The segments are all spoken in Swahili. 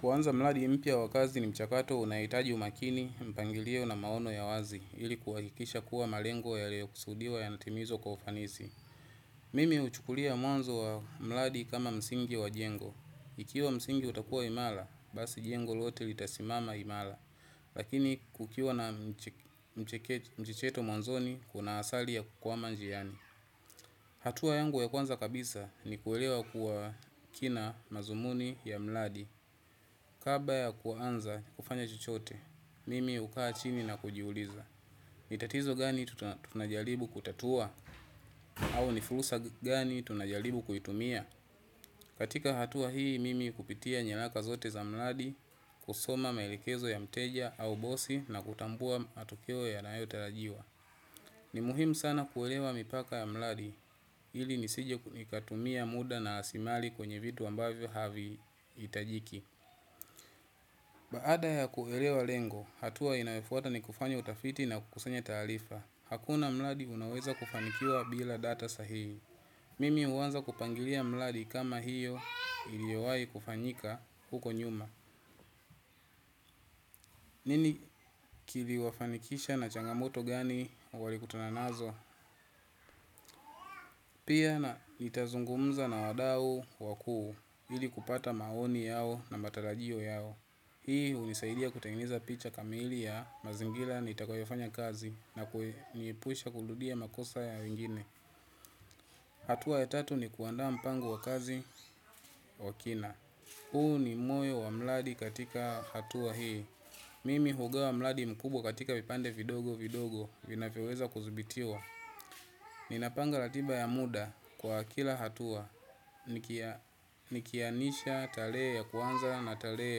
Kuanza mradi mpya wakazi ni mchakato unaohitaji umakini, mpangilio na maono ya wazi ili kuhakikisha kuwa malengo yaliyo kusudiwa ya natimizwa kwa ufanisi. Mimi huchukulia mwanzo wa mradi kama msingi wa jengo. Ikiwa msingi utakuwa imara, basi jengo lote litasimama imara. Lakini kukiwa na mchecheto mwanzoni kuna asali ya kukwama njiani. Hatua yangu ya kwanza kabisa ni kuelewa kwa kina madhumuni ya mradi. Kabla ya kuanza kufanya chochote, mimi hukaa chini na kujiuliza. Nitatizo gani tunajaribu kutatua au ni fursa gani tunajaribu kuitumia. Katika hatua hii mimi hupitia nyaraka zote za mradi kusoma maelekezo ya mteja au bosi na kutambua matokeo yanayo tarajiwa. Ni muhimu sana kuelewa mipaka ya mradi ili nisije nikatumia muda na rasilimali kwenye vitu ambavyo havi hitajiki. Baada ya kuelewa lengo, hatua inayofuata ni kufanya utafiti na kukusanya taarifa. Hakuna mradi unaoweza kufanikiwa bila data sahihi. Mimi huanza kupangilia mradi kama hiyo iliowai kufanyika huko nyuma. Nini kili wafanikisha na changamoto gani wali kutana nazo? Pia nitazungumza na wadau wakuu ili kupata maoni yao na matarajio yao. Hii hunisaidia kutengeneza picha kamili ya mazingira nitakoyofanya kazi na kuniepusha kurudia makosa ya wengine. Hatua ya tatu ni kuandaa mpango wa kazi wa kina. Huu ni moyo wa mradi katika hatua hii. Mimi hugawa mradi mkubwa katika vipande vidogo vidogo vinavyoweza kudhibitiwa. Ninapanga ratiba ya muda kwa kila hatua. Nikianisha tarehe ya kuanza na tarehe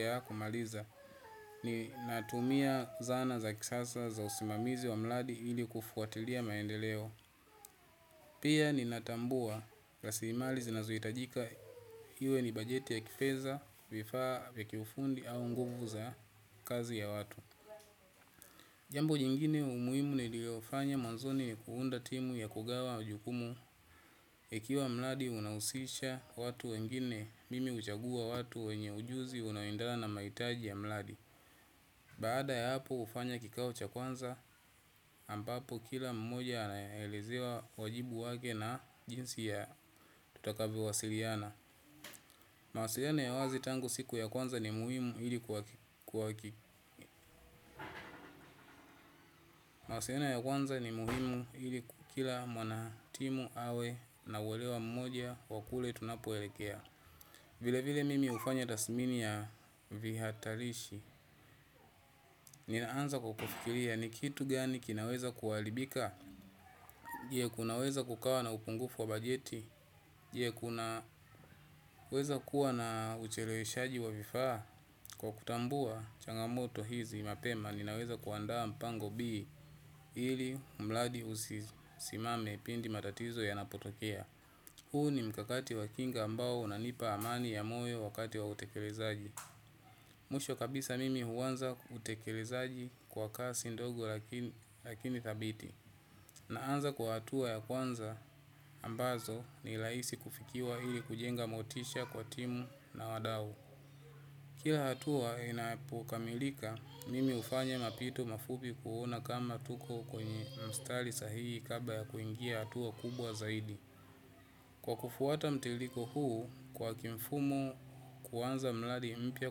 ya kumaliza ni natumia zana za kisasa za usimamizi wa mradi ili kufuatilia maendeleo. Pia ni natambua rasilimali zinazohitajika iwe ni bajeti ya kifedha vifaa vya kiufundi au nguvu za kazi ya watu. Jambo jingine umuhimu niliofanya mwanzoni ni kuunda timu ya kugawa majukumu ikiwa mradi unahusisha watu wengine mimi huchagua watu wenye ujuzi unawindana na mahitaji ya mradi baada ya hapo hufanya kikao cha kwanza ambapo kila mmoja anelezewa wajibu wake na jinsi tutakavyo wasiliana. Mawasiliano ya wazi tangu siku ya kwanza ni muhimu ili mawasiliano ya kwanza ni muhimu ili kila mwanatimu awe na uelewa mmoja wakule tunapoelekea. Vile vile mimi hufanya tathmini yavihatarishi, ninaanza kwa kufikiria ni kitu gani kinaweza kuharibika, je kunaweza kukawa na upungufu wa bajeti, je kunaweza kuwa na uchelewe shaji wa vifaa, kwa kutambua changamoto hizi mapema, ninaweza kuandaa mpango bii ili mradi usisimame pindi matatizo ya napotokea. Huu ni mkakati wa kinga ambao una nipa amani ya moyo wakati wa utekelezaji. Mwisho kabisa mimi huanza utekelezaji kwa kasi ndogo lakini dhabiti. Na anza kwa hatua ya kwanza ambazo ni rahisi kufikiwa ili kujenga motisha kwa timu na wadau. Kila hatua inapo kamilika mimi hufanya mapito mafupi kuona kama tuko kwenye mstari sahihi kabla ya kuingia hatua kubwa zaidi. Kwa kufuata mtiririko huu kwa kimfumo kuanza mradi mpya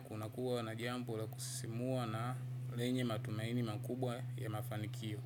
kunakuwa na jambo la kusisimua na lenye matumaini makubwa ya mafanikio.